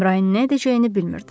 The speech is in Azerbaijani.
Əmrahin nə edəcəyini bilmirdi.